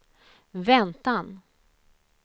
väntan